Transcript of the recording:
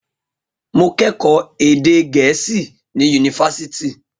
Mo kẹ́kọ̀ọ́ èdè Gẹ̀ẹ́sì ní Yunifásítì